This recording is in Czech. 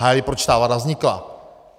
Hájili, proč ta vláda vznikla.